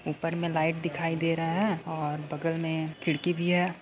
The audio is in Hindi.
ऊपर मे लाइट दिखाई दे रहा है और बगल मे खिड़की भी है।